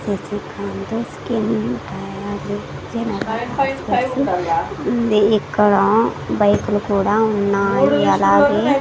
Sasikanth skin diabetes general hospital ఉంది. ఇక్కడ bike లు కూడా ఉన్నాయి. అలాగే --